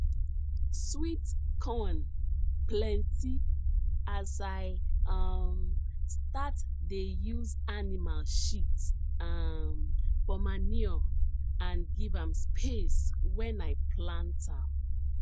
sweet corn plenty as i um start dey use animal sheat um for manure and give am space when i plant am